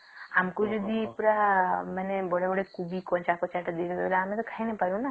ଆମକୁ ଯଦି ପୁରା ବଡ ବଡ କୋବି କଞ୍ଚା କଞ୍ଚା ଦେଇ ଦେବେ ଆମେ ତା ଖାଇ ନାଇଁ ପାରବ ନ